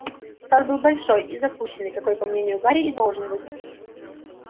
сад был большой и запущенный какой по мнению гарри и должен быть